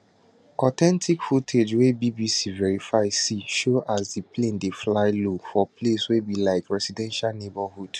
authentic footage wey bbc verify see show as di plane dey fly low for place wey be like residential neighbourhood